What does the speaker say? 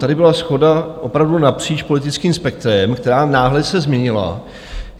Tady byla shoda opravdu napříč politickým spektrem, která se náhle změnila.